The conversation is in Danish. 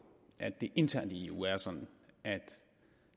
at det internt i eu er sådan at